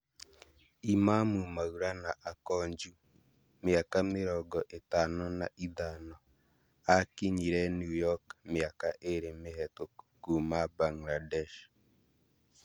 Imamu Maulama Akonjew, miaka mĩrongo ĩtano na ithano, akinyire New York mĩaka ĩrĩ mĩhetũku kuuma Bangladesh